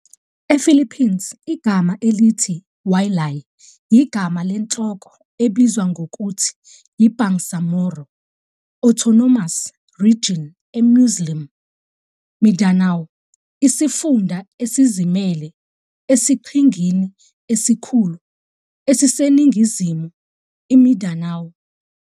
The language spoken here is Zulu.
EPhilippines, igama elithi "Wa'lī" yigama lenhloko ebizwa ngokuthi yi-Bangsamoro Autonomous Region eMuslim Mindanao, isifunda esizimele esiqhingini esikhulu esiseningizimu iMindanao.